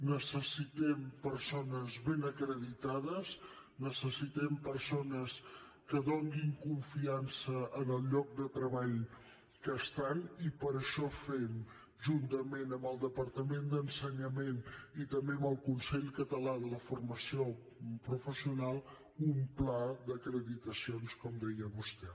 necessitem persones ben acreditades necessitem persones que donin confiança al lloc de treball on estan i per això fem juntament amb el departament d’ensenyament i també amb el consell català de la formació professional un pla d’acreditacions com deia vostè